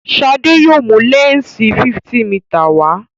Shade yóò mú lẹnsi 50mm wá.